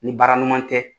Ni baara ɲɔgɔn tɛ